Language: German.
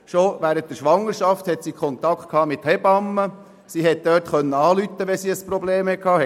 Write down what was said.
Sie hatte bereits während der Schwangerschaft Kontakt mit Hebammen und konnte sie anrufen, wenn sie ein Problem hatte.